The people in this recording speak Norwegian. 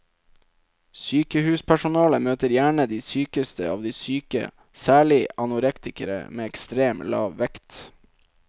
Sykehuspersonalet møter gjerne de sykeste av de syke, særlig anorektikere med ekstremt lav vekt.